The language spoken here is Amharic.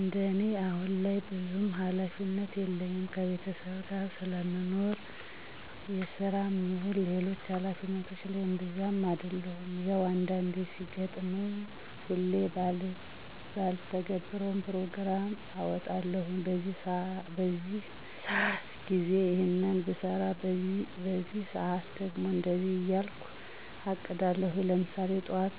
እንደኔ አሁን ላይ ብዙም ሀላፊነት የለኝም ከቤተሰብ ጋር ስለምኖር የስራም ይሁን ሌሎች ሀላፊነቶች ላይ እብዛም አደሉም። ያው አንዳንዴ ሲገጥመኝ ሁሌ ባልተገብረውም ፕሮግራም አወጣለሁኝ በዚህ በዚህ ሰአት ጊዜ ይሔንን ብሰራ በዚህ በዚህ ሰአት ደግሞ ለእንደዚህ እያልኩ አቅዳለሁኝ። ለምሳሌ ጥዋት